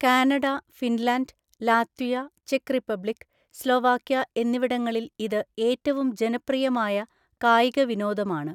Canada, Finland, Latvia, ചെക്ക് Republic, Slovakia എന്നിവിടങ്ങളിൽ ഇത് ഏറ്റവും ജനപ്രിയമായ കായിക വിനോദമാണ്.